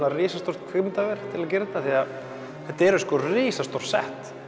risastórt kvikmyndaver til að gera þetta því þetta eru risastór sett